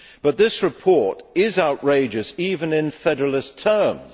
However, this report is outrageous even in federalist terms.